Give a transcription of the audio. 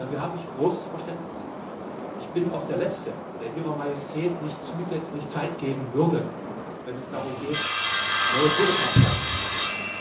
Dafür habe ich großes Verständnis. Ich bin auch der Letzte, der Ihrer Majestät nicht zusätzlich Zeit geben würde, wenn es darum geht, neue Kohlekraftwerke zu bauen.